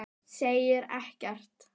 Segir ekkert.